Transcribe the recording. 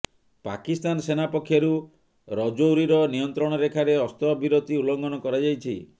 ପାକିସ୍ତାନ ସେନା ପକ୍ଷରୁ ରଜୌରୀର ନିୟନ୍ତ୍ରଣ ରେଖାରେ ଅସ୍ତ୍ରବିରତି ଉଲ୍ଲଂଘନ କରାଯାଇଛି